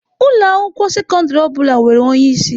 Ụlọ akwụkwọ sekọndrị ọ bụla nwere onye isi.